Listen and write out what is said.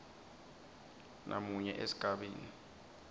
b namunye esigabeni